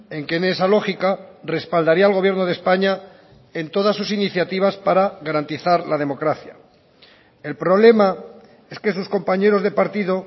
en que en esa lógica respaldaría al gobierno de españa en todas sus iniciativas para garantizar la democracia el problema es que sus compañeros de partido